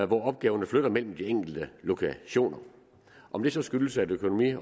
hvor opgaverne flytter mellem de enkelte lokationer om det så skyldes at økonomi